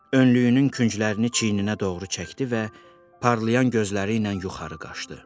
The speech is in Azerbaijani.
Önlüyünün künclərini çiyininə doğru çəkdi və parlayan gözləri ilə yuxarı baxdı.